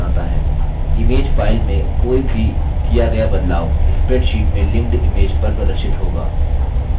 image file में कोई भी किया गया बदलाव spreadsheet में linked image पर प्रदर्शित होगा